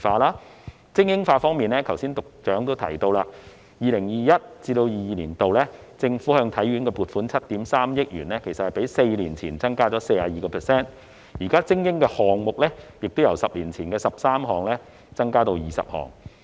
在精英化方面，局長剛才也提到，政府在 2021-2022 年度向體院撥款7億 3,000 萬元，較4年前增加 42%， 而精英項目亦由10年前的13項增至20項。